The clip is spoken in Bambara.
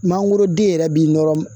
Mangoroden yɛrɛ b'i nɔrɔ